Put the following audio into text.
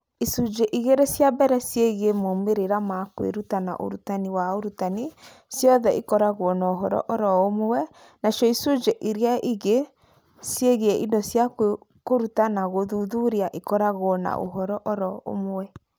Icunjĩ igĩrĩ cia mbere ciĩgiĩ moimĩrĩro ma kwĩruta na ũrutani wa ũrutani ciothe ikoragwo na ũhoro o ro ũmwe, nacio icunjĩ iria ingĩ ciĩgiĩ indo cia kũruta na gũthuthuria ikoragwo na ũhoro o ro ũmwe.